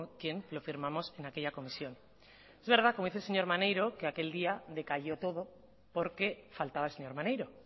con quien lo firmamos en aquella comisión es verdad como dice el señor maneiro que aquel día decayó todo porque faltaba el señor maneiro